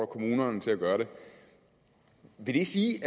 kommunerne til at gøre det vil det sige